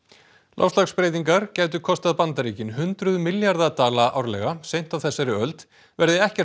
loftslagsbreytingar gætu kostað Bandaríkin hundruð milljarða dala árlega seint á þessari öld verði ekkert